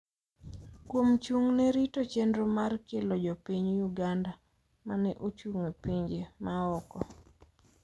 kuom chung'ne rito chenro mar kelo jopiny Uganda ma ne ochung’ e pinje ma oko.